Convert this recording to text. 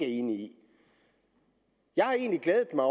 enig i jeg har egentlig glædet mig